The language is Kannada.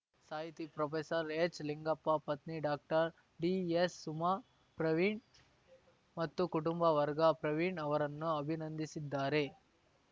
ಸಾಹಿತಿ ಪ್ರೊಫೆಸರ್ಎಚ್‌ಲಿಂಗಪ್ಪ ಪತ್ನಿ ಡಾಕ್ಟರ್ಡಿಎಸ್‌ಸುಮಾ ಪ್ರವೀಣ್‌ ಮತ್ತು ಕುಟುಂಬ ವರ್ಗ ಪ್ರವೀಣ್‌ ಅವರನ್ನು ಅಭಿನಂದಿಸಿದ್ದಾರೆ